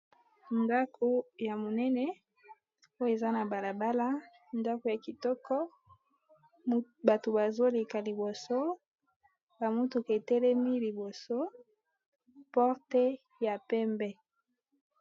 Ndako ya monene oyo eza na balabala ndako ya kitoko bato bazoleka liboso bamotuka etelemi liboso porte ya pembe.